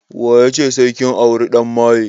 Wa ya ce sai kin auri ɗan maye?